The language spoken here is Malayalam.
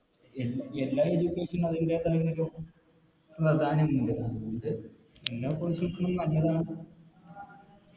എന്എല്ലാ Education നും അതിൻറെതായ ഒരു പ്രധാനമുണ്ട് എല്ലാ നല്ലതാണ്